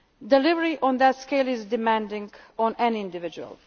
to complete. Delivery on that scale is demanding